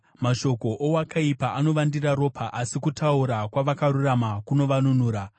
Mashoko owakaipa anovandira ropa, asi kutaura kwavakarurama kunovanunura.